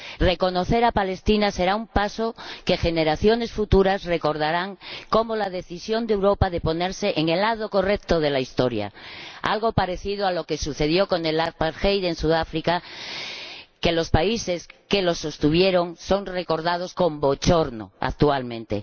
Reconocer a Palestina será un paso que generaciones futuras recordarán como la decisión de Europa de ponerse en el lado correcto de la historia, algo parecido a lo que sucedió con el apartheid en Sudáfrica los países que lo sostuvieron son recordados con bochorno actualmente.